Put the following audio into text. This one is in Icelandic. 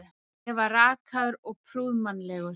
Ég var rakaður og prúðmannlegur.